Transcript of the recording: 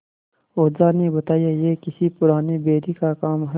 ओझा ने बताया यह किसी पुराने बैरी का काम है